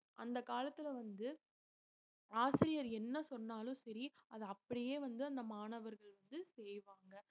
அந்த காலத்துல வந்து ஆசிரியர் என்ன சொன்னாலும் சரி அதை அப்படியே வந்து அந்த மாணவர்கள் வந்து செய்வாங்க